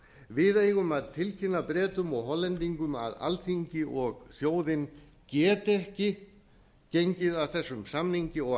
við eigum að tilkynna bretum og hollendingum að alþingi og þjóð geti ekki gengið að þessum samningi og